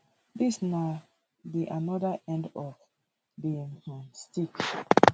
dis na na di oda end of di um stick